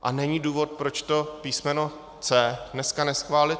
A není důvod, proč to písmeno C dneska neschválit.